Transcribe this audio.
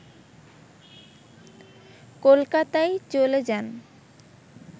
কলকাতায় চলে যান